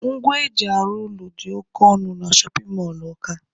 Ngwa eji arụ ụlọ dị oke ọnụ na shọpin mọlụ Ọka.